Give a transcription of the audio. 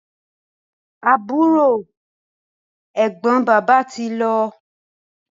Àbúrò/Ẹ̀gbọ́n bàbá tí lọ